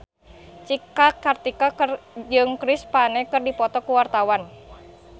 Cika Kartika jeung Chris Pane keur dipoto ku wartawan